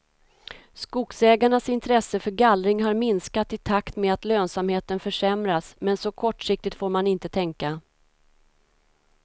Skogsägarnas intresse för gallring har minskat i takt med att lönsamheten försämrats, men så kortsiktigt får man inte tänka.